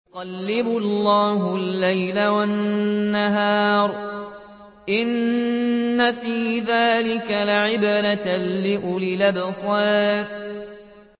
يُقَلِّبُ اللَّهُ اللَّيْلَ وَالنَّهَارَ ۚ إِنَّ فِي ذَٰلِكَ لَعِبْرَةً لِّأُولِي الْأَبْصَارِ